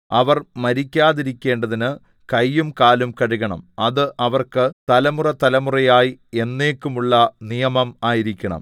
അവർ മരിക്കാതിരിക്കേണ്ടതിന് കയ്യും കാലും കഴുകണം അത് അവർക്ക് തലമുറതലമുറയായി എന്നേക്കുമുള്ള നിയമം ആയിരിക്കണം